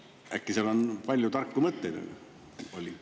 Äkki seal oli palju tarku mõtteid?